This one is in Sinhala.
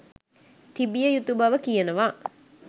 තිබිය යුතු බව කියනවා